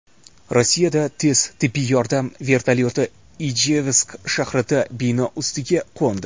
Rossiyada tez tibbiy yordam vertolyoti Ijevsk shahridagi bino ustiga qo‘ndi.